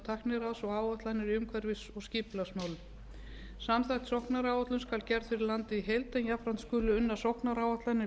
tækniráðs og áætlanir í umhverfis og skipulagsmálum samþætt sóknaráætlun skal gerð fyrir landið í heild en jafnframt skulu unnar sóknaráætlanir fyrir